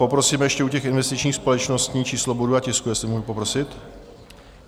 Poprosím ještě u těch investičních společností číslo bodu a tisku, jestli mohu poprosit.